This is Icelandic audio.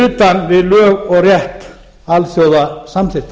utan við lög og rétt alþjóðasamþykkta